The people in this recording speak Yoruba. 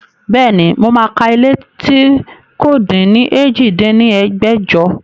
Bẹ́ẹ̀ni, mo máa ka ilé tí kò din ní èjì dín ní ẹgbẹ́jọ